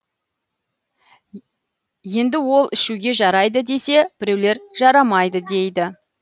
енді ол ішуге жарайды десе біреулер жарамайды дейді